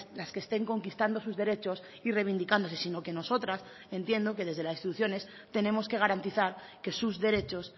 las que estén conquistando sus derechos y reivindicándose sino que nosotras entiendo que desde las instituciones tenemos que garantizar que sus derechos